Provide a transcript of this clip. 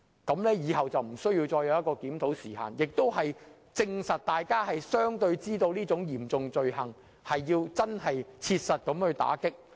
如此一來，日後便無須設立檢討時限，亦證明了大家確認這是嚴重罪行，需要切實打擊。